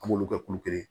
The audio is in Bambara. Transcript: An b'olu kɛ kulu kelen